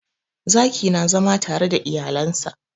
Zaki na zama tare da iyalen sa.